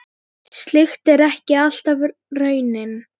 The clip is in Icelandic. Slíkt er ekki alltaf raunin.